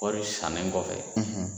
Kɔri sannen kɔfɛ